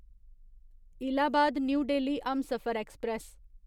Allahabad New Delhi Humsafar express